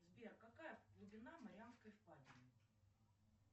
сбер какая глубина марианской впадины